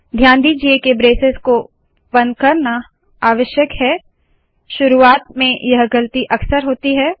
ध्यान दीजिए के ब्रेसेस को बंद करना आवश्यक है शुरुवात में यह गलती अक्सर होती है